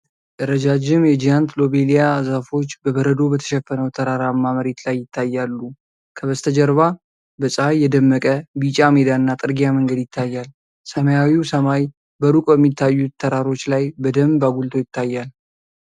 ረዣዥም የጂያንት ሎቤልያ ዛፎች በበረዶ በተሸፈነው ተራራማ መሬት ላይ ይታያሉ። ከበስተጀርባ በፀሐይ የደመቀ ቢጫ ሜዳና ጥርጊያ መንገድ ይታያል። ሰማያዊው ሰማይ በሩቅ በሚታዩት ተራሮች ላይ በደንብ አጉልቶ ይታያል።